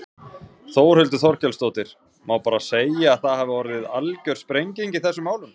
Þórhildur Þorkelsdóttir: Má bara segja að það hafi orðið algjör sprenging í þessum málum?